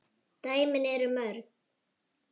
Dæmin eru mörg.